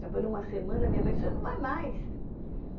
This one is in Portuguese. Trabalhou uma semana, minha mãe você não vai mais!.